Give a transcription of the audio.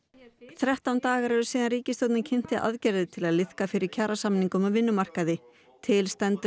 þrettán dagar eru síðan ríkisstjórnin kynnti aðgerðir til að liðka fyrir kjarasamningum á vinnumarkaði til stendur